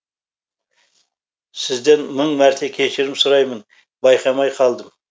сізден мың мәрте кешірім сұраймын байқамай қалдым